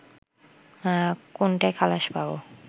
কোনটায় খালাস পাবো